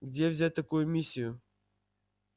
где взять такую миссию